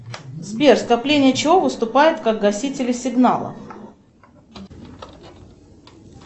сбер скопление чего выступает как гасители сигнала